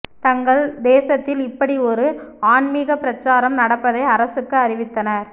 தங்கள் தேசத்தில் இப்படி ஒரு ஆன்மிக பிரசாரம் நடப்பதை அரசுக்கு அறிவித்தனர்